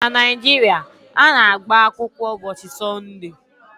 Na Naịjiria, a na-agba akwụkwọ ụbọchị Sọnde